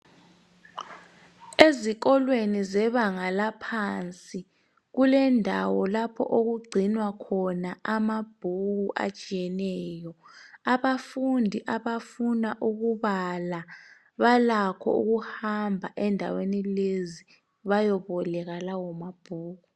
Ezikolweni zebanga laphansi kulendawo lapho okugcinwa khona amabhuku atshiyeneyo. Abafundi abafuna ukubala balakho ukuhamba endaweni lezi bayeboleka lawo mabhuku.